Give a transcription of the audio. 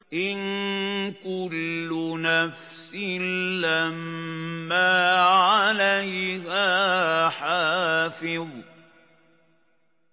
إِن كُلُّ نَفْسٍ لَّمَّا عَلَيْهَا حَافِظٌ